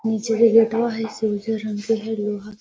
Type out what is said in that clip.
निचे जे गेटवा हई से उज्जर रंग के हई लोहा के --